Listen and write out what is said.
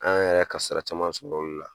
An yɛrɛ ye kasara caman sɔrɔ olu la